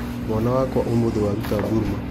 Mwana wakwa ũmũthĩ waruta Burma.